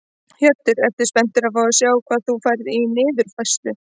Hjörtur: Ertu spenntur að fá að sjá hvað þú færð í niðurfærslu?